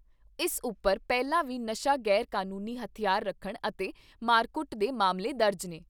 ਇਸ ਉਪਰ ਪਹਿਲਾਂ ਵੀ ਨਸ਼ਾ ਗ਼ੈਰ ਕਾਨੂੰਨੀ ਹਥਿਆਰ ਰੱਖਣ ਅਤੇ ਮਾਰਕੁੱਟ ਦੇ ਮਾਮਲੇ ਦਰਜ ਨੇ।